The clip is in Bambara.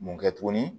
Mun kɛ tuguni